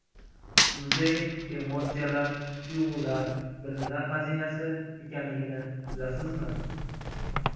Muzey emotsiyalar, tuyg‘ular, bilimlar xazinasi ekanligini bilasizmi?